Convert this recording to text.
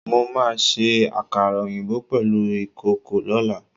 Mo máa se àkàrà òyìnbó pèlú ìkòkò lọ́lá